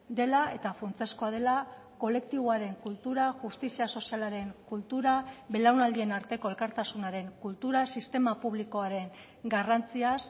dela eta funtsezkoa dela kolektiboaren kultura justizia sozialaren kultura belaunaldien arteko elkartasunaren kultura sistema publikoaren garrantziaz